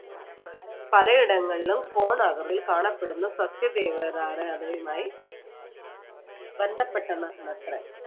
പലയിടങ്ങളിലും കോണാകൃതിയിൽ കാണപ്പെടുന്ന ബന്ധപ്പെട്ടതാണത്രെ.